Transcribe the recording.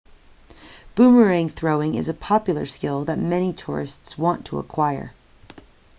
boomerang throwing is a popular skill that many tourists want to acquire